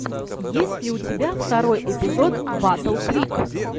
есть ли у тебя второй эпизод батл крик